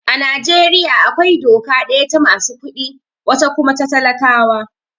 A Najeriya akwai doka daya ta masu kuɗi, wata kuma ta talakawa.